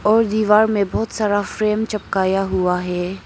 और दीवार में बहुत सारा फ्रेम चपकाए हुआ है।